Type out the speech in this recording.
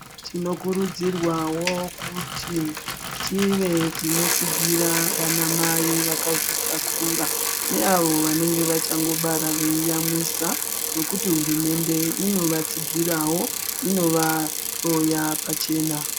Tinokurudzirwawo kuti tive tinotsingira vana mai vakazvitakakura neavo vanenge vachangobara veiamwisa nokuti hurumende inovatsigirawo inova hloya pachena .